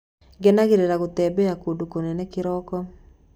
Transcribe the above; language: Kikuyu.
Ngenagĩrĩra gũtembea kũndũ kũnene kĩroko.